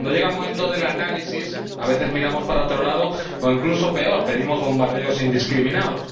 Pero, cuando llega el momento del análisis, a veces miramos para otro lado o, incluso peor, pedimos bombardeos indiscriminados.